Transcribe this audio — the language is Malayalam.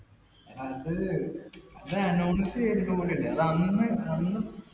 അത്, അത് announce ചെയ്തിട്ടുകൂടിയില്ല. അത് അന്ന്അന്ന്